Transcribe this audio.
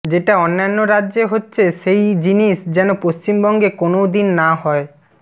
যেটা অন্যান্য রাজ্যে হচ্ছে সেই জিনিস যেন পশ্চিমবঙ্গে কোনও দিন না হয়